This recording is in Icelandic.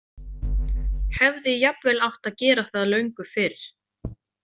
Hefði jafnvel átt að gera það löngu fyrr.